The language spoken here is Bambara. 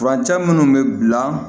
Furancɛ minnu bɛ bila